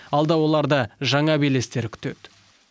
алда оларды жаңа белестер күтеді